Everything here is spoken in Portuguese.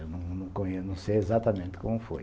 Eu não conheço, não sei exatamente como foi.